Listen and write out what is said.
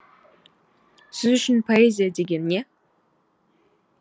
сіз үшін поэзия деген не